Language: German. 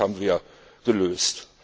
Aber auch das haben wir gelöst.